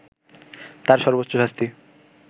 তার সর্বোচ্চ শাস্তি